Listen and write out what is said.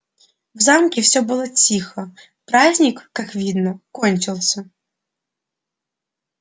в замке всё было тихо праздник как видно кончился